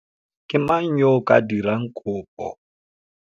Ke mang yo a ka dirang kopo?